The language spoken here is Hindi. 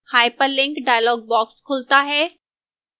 hyperlink dialog box खुलता है